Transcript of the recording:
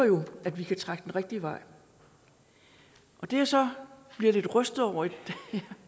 at vi kan trække den rigtige vej det jeg så bliver lidt rystet over i